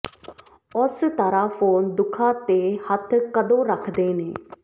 ਓਸ ਤਰ੍ਹਾਂ ਫ਼ੋਨ ਦੁੱਖਾਂ ਤੇ ਹੱਥ ਕਦੋਂ ਰੱਖਦੇ ਨੇ